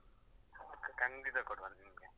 Okay ಖಂಡಿತ ಕೊಡ್ವ ನಿಮ್ಗೆ.